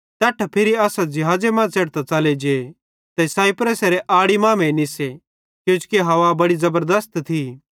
तैट्ठां फिरी असां ज़िहाज़े मां च़ेढ़तां च़ले जे ते साइप्रसेरे आड़ी मांमेइं निस्से किजोकि हवा बड़ी ज़बरदस्त थी